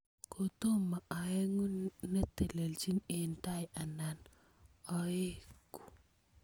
Kotomo oeku netelechin eng tai anan oeku